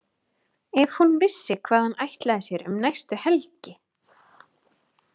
Ef hún vissi hvað hann ætlaði sér um næstu helgi!